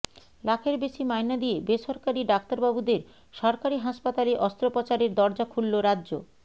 লাখের বেশি মাইনে দিয়ে বেসরকারি ডাক্তারবাবুদের সরকারি হাসপাতালে অস্ত্রোপচারের দরজা খুলল রাজ্য